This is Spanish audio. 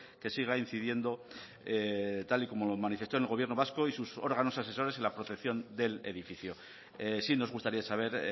que siga incidiendo tal y como manifestó el gobierno vasco y sus órganos asesores la protección del edificio sí nos gustaría saber